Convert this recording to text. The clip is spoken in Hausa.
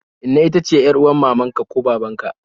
Inna ita ce yar'uwar mamaka ko babanka